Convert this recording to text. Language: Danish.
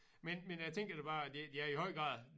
Men men jeg tænker da bare det det er i høj grad